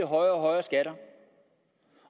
højere og højere skatter